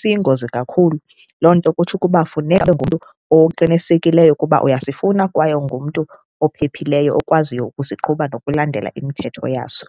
siyingozi kakhulu loo nto kutsho ukuba funeka ube ngumntu oqinisekileyo ukuba uyasifuna kwaye ungumntu ophephileyo okwaziyo ukusiqhuba nokulandela imithetho yaso.